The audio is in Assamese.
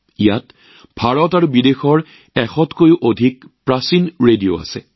ইয়াত ভাৰত আৰু বিদেশৰ ১০০ৰো অধিক প্ৰাচীন ৰেডিঅ প্ৰদৰ্শিত হৈছে